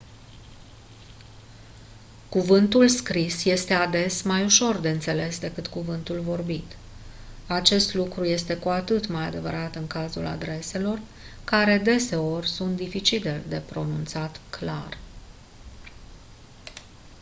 cuvântul scris este ades mai ușor de înțeles decât cuvântul vorbit acest lucru este cu atât mai adevărat în cazul adreselor care deseori sunt dificil de pronunțat clar